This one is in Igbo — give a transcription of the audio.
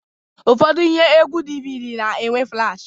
Ụfọdụ ihe egwu DVD na-enwe flash